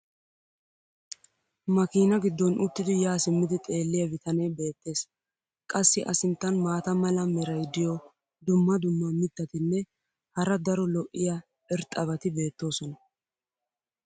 makiinaa giddon uttidi yaa simmidi xeeliya bitanee beetees. qassi a sinttan maata mala meray diyo dumma dumma mitatinne hara daro lo'iya irxxabati beetoosona.